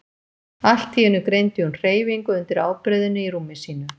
Allt í einu greindi hún hreyfingu undir ábreiðunni í rúmi sínu.